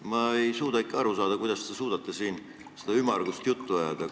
Ma ei suuda ikka aru saada, kuidas te suudate siin seda ümmargust juttu ajada.